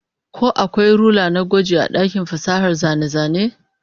Ko akwai rula na gwaji a dakin fasahar zane-zane?